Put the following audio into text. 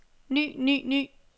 ny ny ny